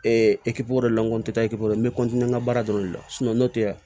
wari dɔ le la n ko ta ekipori n bɛ n ka baara dɔrɔn de la n'o tɛ yan